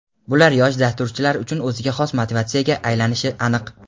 Bular yosh dasturchilar uchun o‘ziga xos motivatsiyaga aylanishi aniq.